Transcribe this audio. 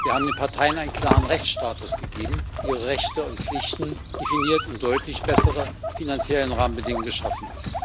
Wir haben den Parteien einen klaren Rechtsstatus gegeben, ihre Rechte und Pflichten definiert und deutlich bessere finanzielle Rahmenbedingungen geschaffen.